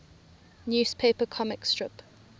newspaper comic strip